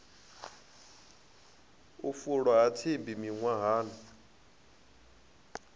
u fulwa ha tsimbi miṅwahani